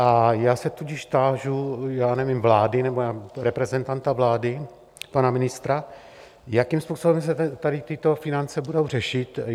A já se tudíž tážu, já nevím, vlády, nebo reprezentanta vlády, pana ministra, jakým způsobem se tady tyto finance budou řešit.